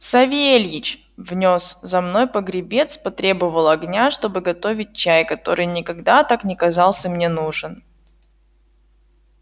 савельич внёс за мною погребец потребовал огня чтоб готовить чай который никогда так не казался мне нужен